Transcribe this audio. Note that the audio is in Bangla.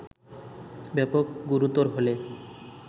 ব্যাপক গুরুতর হলে